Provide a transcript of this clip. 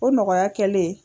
O nɔgɔya kɛlen.